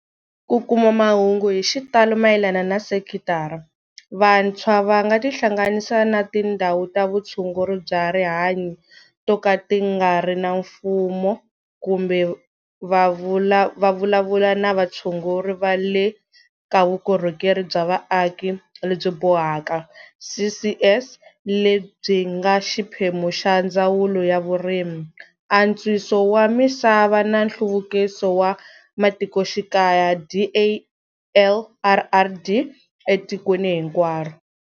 Ku kuma mahungu hi xitalo mayelana na sekitara, vantshwa va nga tihlanganisa na tindhawu ta vutshunguri bya rihanyo to ka ti nga ri ta mfumo kumbe va vulavula na vatshunguri va le ka Vukorhokeri bya Vaaki lebyi Bohaka, CCS, lebyi nga xiphemu xa Ndzawulo ya Vurimi, Antswiso wa Misava na Nhluvukiso wa Matikoxikaya, DALRRD, etikweni hinkwaro.